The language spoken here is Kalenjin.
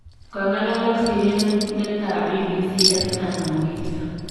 Kongalal ak sirindet ab BBC Esther Namuhisa.